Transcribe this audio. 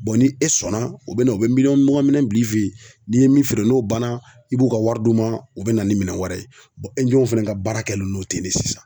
ni e sɔnna u bɛna u bɛ miliyɔn mugan minɛn bila e fe yen, n'i ye min feere n'o banna i b'u ka wari d'u ma, u bina ni minɛn wɛrɛ ye fana ka baara kɛlen no ten de sisan.